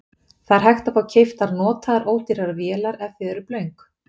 Það er hægt að fá keyptar notaðar ódýrar vélar ef þið eruð blönk.